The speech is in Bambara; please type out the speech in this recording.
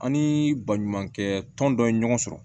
An ni baɲumankɛ tɔn dɔ ye ɲɔgɔn sɔrɔ